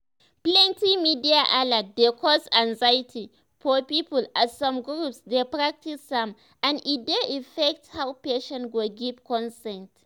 plenty media alert dey cause anxiety for people as some groups dey practice am and e dey affect how patients go give consent.